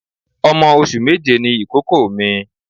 Ọmọ oṣù méje ni ìkókó mi.